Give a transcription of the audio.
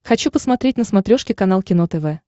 хочу посмотреть на смотрешке канал кино тв